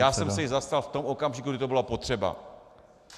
Já jsem se jí zastal v tom okamžiku, kdy to bylo potřeba.